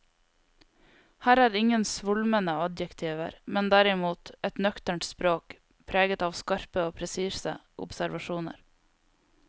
Her er ingen svulmende adjektiver, men derimot et nøkternt språk preget av skarpe og presise observasjoner.